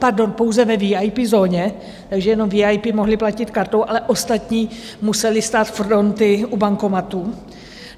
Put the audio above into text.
Pardon, pouze ve VIP zóně, takže jenom VIP mohli platit kartou, ale ostatní museli stát fronty u bankomatů.